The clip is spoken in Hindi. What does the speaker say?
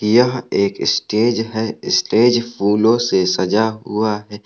यह एक स्टेज है। स्टेज फूलो से सजा हुआ है।